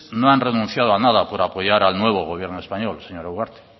no han renunciado a nada por apoyar al nuevo gobierno español señora ugarte